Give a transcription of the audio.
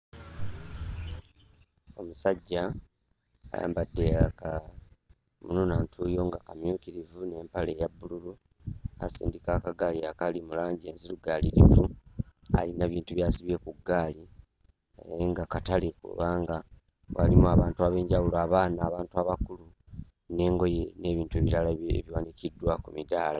Omusajja ayambadde akamunuunantuuyo nga kamyukirivu n'empale eya bbululu, asindika akagaali akali mu langi enzirugaliiririvu. Ayina ebintu by'asibye ku ggaali naye nga katale kubanga waliwo abantu ab'enjawulo: abaana, abantu abakulu n'engoye n'ebintu ebirala ebiwanikiddwa ku midaala.